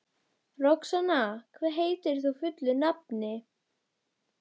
Roxanna, hvað heitir þú fullu nafni?